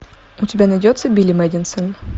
у тебя найдется билли мэдисон